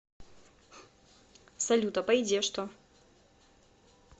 салют а по еде что